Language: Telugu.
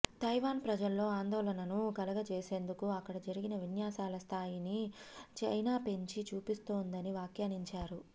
తైవాన్ ప్రజల్లో ఆందోళనను కలగచేసేందుకు అక్కడ జరిగిన విన్యాసాల స్థాయిని చైనా పెంచి చూపిస్తోందని వ్యాఖ్యానించారు